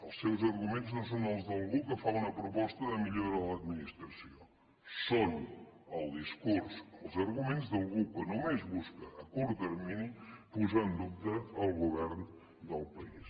els seus arguments no són els d’algú que fa una proposta de millora de l’administració són el discurs els arguments d’algú que només busca a curt termini posar en dubte el govern del país